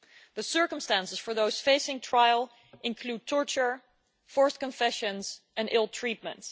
The circumstances for those facing trial include torture, forced confessions and ill treatment.